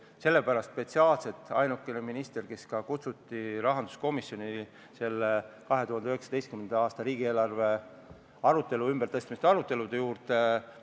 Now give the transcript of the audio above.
Just sellepärast oli ainuke minister, kes kutsuti rahanduskomisjoni selle 2019. aasta riigieelarve ümbertõstmiste arutelude juurde, sotsiaalminister.